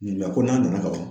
Nka ko n'a nana ka ban